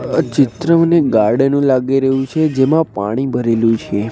આ ચિત્ર મને ગાર્ડન નું લાગી રહ્યું છે જેમાં પાણી ભરેલું છે.